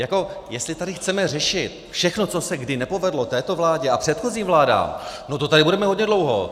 Jako jestli tady chceme řešit všechno, co se kdy nepovedlo této vládě a předchozím vládám, no to tady budeme hodně dlouho.